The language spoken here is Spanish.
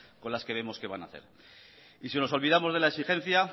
con las que vemos que va a nacer y si nos olvidamos de la exigencia